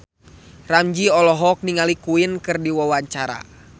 Ramzy olohok ningali Queen keur diwawancara